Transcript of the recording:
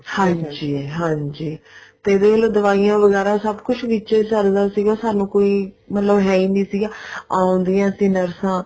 ਹਾਂਜੀ ਹਾਂਜੀ ਤੇ ਵੇਖਲੋ ਦਵਾਈਆਂ ਵਗੇਰਾ ਸਭ ਕੁੱਛ ਵਿੱਚੇ ਚੱਲਦਾ ਸੀ ਸਾਨੂੰ ਕੋਈ ਮਤਲਬ ਹੈ ਓ ਨਹੀਂ ਸੀਗਾ ਆਉਂਦੀਆਂ ਸੀ ਨਰਸਾਂ